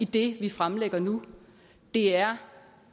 det vi fremlægger nu det er